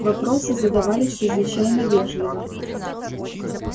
вопросы задавали чрезвычайно вежливо